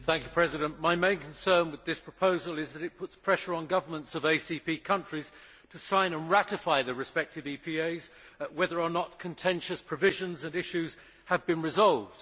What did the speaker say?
Mr President, my main concern with this proposal is that it puts pressure on governments of ACP countries to sign and ratify the respective EPAs, whether or not contentious provisions and issues have been resolved.